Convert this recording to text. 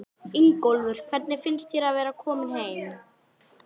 Ingólfur: Hvernig finnst þér að vera kominn heim?